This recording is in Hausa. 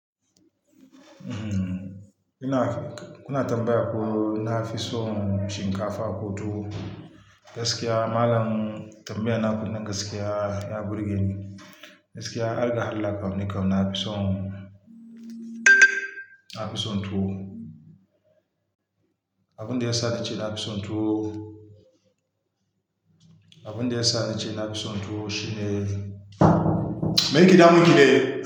Uhm, ina, kuna tambaya ko na fi son shinkafa ko tuwo. Gaskiya malam tambaya na kun nan gaskiya, ya burge ni. Gaskiya, harga Allah kau ni kam nafi son, nafi son tuwo Abun da ya sa nace na fi son tuwo, abun da ya sa nace nafi son tuwo shine, meye ke da munki ne?